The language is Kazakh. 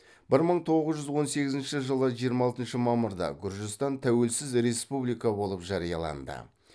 бір мың тоғыз жүз он сегізінші жылы жиырма алтыншы мамырда гүржістан тәуелсіз республика болып жарияланды